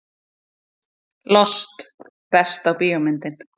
Lost Besta bíómyndin?